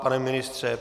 Pane ministře?